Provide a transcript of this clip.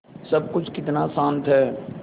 सब कुछ कितना शान्त है